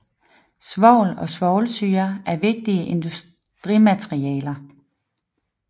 Svovl og svovlsyre er vigtige industrimaterialer